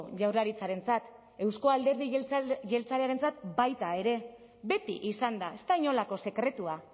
jaurlaritzarentzat euzko alderdi jeltzalearentzat baita ere beti izan da ez da inolako sekretua